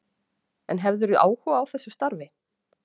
En hefðirðu áhuga á þessu starfi?